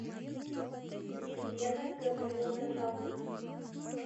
елена гавриловна жалнина